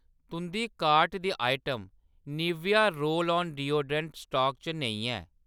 तुंʼदी कार्ट दी item Nivea roll on deodorant stock च नेईं ऐ।